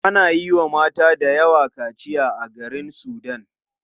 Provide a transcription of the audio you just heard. Ana yiwa mata dayawa kaciya a garin sudan.